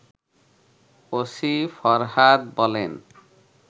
OC Farhad বলেন